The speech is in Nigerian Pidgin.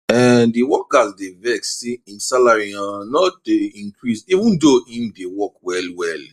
um di worker dey vex say im salary um no dey increase even though im dey work well well